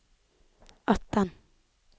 atten